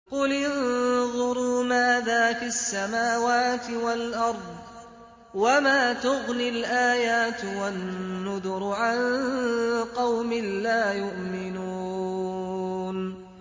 قُلِ انظُرُوا مَاذَا فِي السَّمَاوَاتِ وَالْأَرْضِ ۚ وَمَا تُغْنِي الْآيَاتُ وَالنُّذُرُ عَن قَوْمٍ لَّا يُؤْمِنُونَ